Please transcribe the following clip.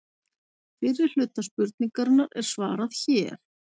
Fyrri hluta spurningarinnar er svarað hér.